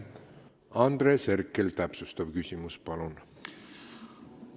Andres Herkel, täpsustav küsimus, palun!